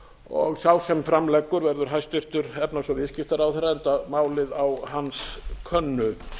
og sá sem fram leggur verður hæstvirtur efnahags og viðskiptaráðherra enda málið á hans könnu